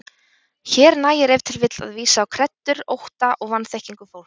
Hér nægir ef til vill að vísa á kreddur, ótta og vanþekkingu fólks.